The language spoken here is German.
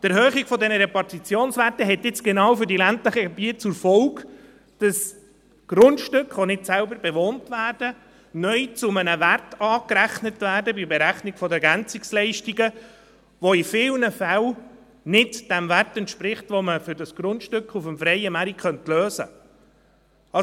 Die Erhöhung der Repartitionswerte hat für die ländlichen Gebiete zur Folge, dass Grundstücke, welche nicht selbstbewohnt werden, bei der Bewertung der EL neu zu einem Wert angerechnet werden, welcher in vielen Fällen nicht dem Wert entspricht, den man auf dem freien Markt lösen könnte.